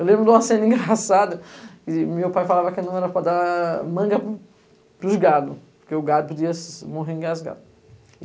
Eu lembro de uma cena engraçada, e meu pai falava que não era para dar manga pros gados, porque o gado podia morrer engasgado.